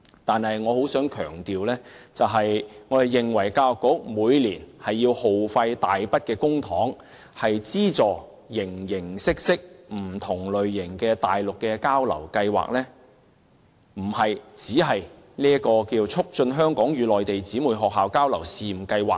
但是，我仍想強調一點，我們認為教育局每年耗費大筆公帑，以資助不同類型的內地交流計劃，問題並非只在於這項"促進香港與內地姊妹學校交流試辦計劃"。